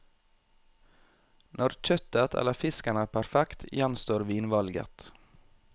Når kjøttet eller fisken er perfekt, gjenstår vinvalget.